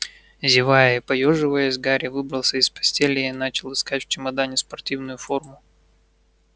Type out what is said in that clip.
зевая и поёживаясь гарри выбрался из постели и начал искать в чемодане спортивную форму